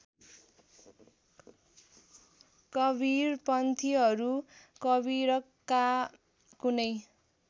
कवीरपन्थीहरू कवीरका कुनै